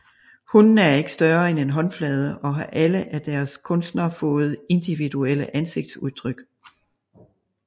Hundene er ikke større end en håndflade og har alle af deres kunstner fået individuelle ansigtsudtryk